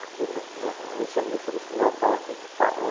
Aqui no no a gente chama esse esse local aqui de Pá